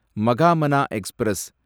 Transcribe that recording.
மகாமனா express